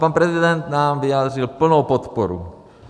Pan prezident nám vyjádřil plnou podporu.